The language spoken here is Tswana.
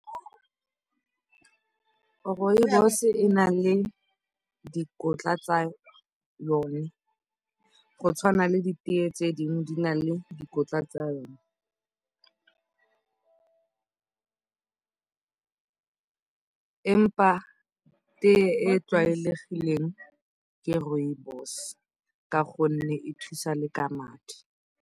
Rooibos e na le dikotla tsa yone go tshwana le diteye tse dingwe di na le dikotla tsa yone teye e e tlwaelegileng ke rooibos ka gonne e thusa le ka madi.